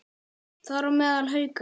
Þar á meðal Haukar.